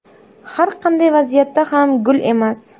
Har qanday vaziyatda ham gul emas.